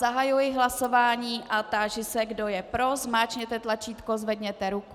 Zahajuji hlasování a táži se, kdo je pro, zmáčkněte tlačítko, zvedněte ruku.